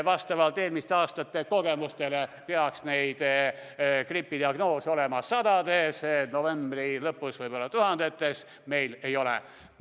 Vastavalt eelmiste aastate kogemusele peaks gripidiagnoose olema sadades, novembri lõpuks võib-olla tuhandetes, aga meil neid ei ole.